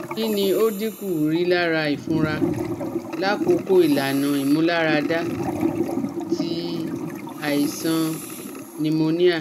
Kini o dinku rilara ifunra lakoko ilana imularada ti aisan pneumonia?